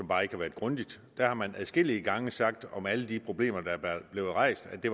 bare ikke været grundigt og der har man adskillige gange sagt om alle de problemer der er blevet rejst at det